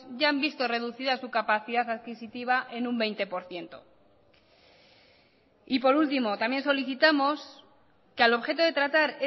ya han visto reducida su capacidad adquisitiva en un veinte por ciento y por último también solicitamos que al objeto de tratar